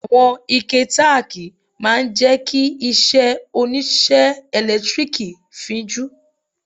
Àwọn ike tákìì máa ń jẹ́ kí iṣẹ́ oníṣẹ́ ẹ̀lẹ́tíríkì fín jú.